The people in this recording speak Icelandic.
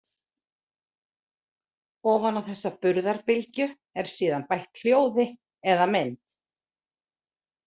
Ofan á þessa burðarbylgju er síðan bætt hljóði eða mynd.